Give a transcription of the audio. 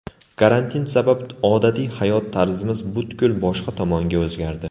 Karantin sabab odatiy hayot tarzimiz butkul boshqa tomonga o‘zgardi.